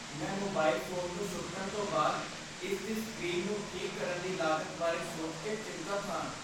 ਮੈਂ mobile phone ਨੂੰ ਸੁੱਟਣ ਤੋਂ ਬਾਅਦ ਇਸ ਦੀ ਸਕ੍ਰੀਨ ਨੂੰ ਠੀਕ ਕਰਨ ਦੀ ਲਾਗਤ ਬਾਰੇ ਸੋਚ ਕੇ ਚਿੰਤਤ ਹਾਂ।